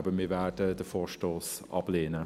Eben, wir werden den Vorstoss ablehnen.